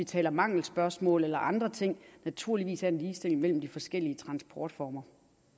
til mangelspørgsmål eller andre ting naturligvis er en ligestilling mellem de forskellige transportformer